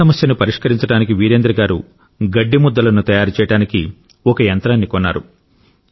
గడ్డి సమస్యను పరిష్కరించడానికి వీరేంద్ర గారు గడ్డి ముద్దలను తయారు చేయడానికి ఒక యంత్రాన్ని కొన్నారు